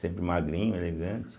Sempre magrinho, elegante.